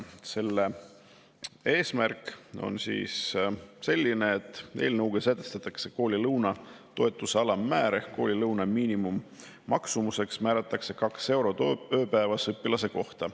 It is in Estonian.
Selle eesmärk on selline, et eelnõuga sätestatakse koolilõuna toetuse alammäär ehk koolilõuna miinimummaksumuseks määratakse 2 eurot ööpäevas õpilase kohta.